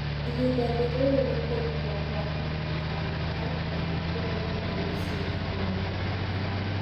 Ihinda-inĩ rĩrĩ nĩ kũrutwo kwa DBIR mathukuru-inĩ ma mĩciĩ-inĩ hamwe na thirikari.